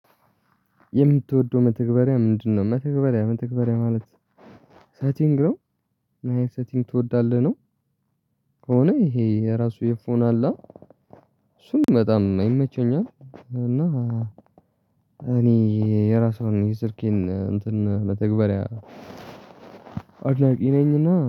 የምትወደው መተግበሪያ ምንድነው? መተግበሪያ መተግበሪያ ማለት ሴቲንግ ነው ናይን ሴቲንግ ትወዳለህ ነው። ከሆነ ይሄ የራሱ የፎን አለ እሱም በጣም ይመቸኛል። እና እኔ የራሷን የስልኬን እንትን መተግበሪያ አዎ አዎ እኔና